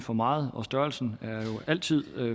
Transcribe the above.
for meget og størrelsen er jo altid